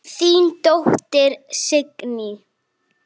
Þín dóttir, Signý.